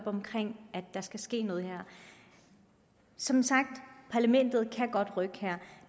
omkring at der skal ske noget her som sagt parlamentet kan godt rykke her